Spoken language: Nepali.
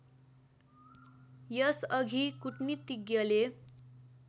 यस अघि कूटनीतिज्ञले